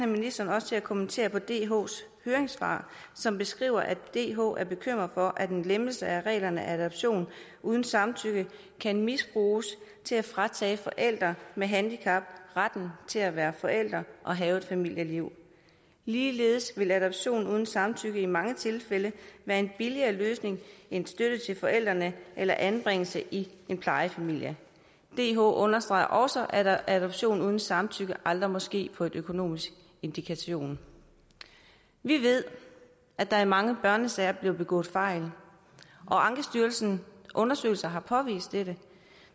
ministeren til at kommentere dhs høringssvar som beskriver at dh er bekymrede for at en lempelse af reglerne om adoption uden samtykke kan misbruges til at fratage forældre med handicap retten til at være forældre og have et familieliv ligeledes vil adoption uden samtykke i mange tilfælde være en billigere løsning end støtte til forældrene eller anbringelse i en plejefamilie dh understreger også at adoption uden samtykke aldrig må ske på en økonomisk indikation vi ved at der i mange børnesager bliver begået fejl og ankestyrelsens undersøgelser har påvist dette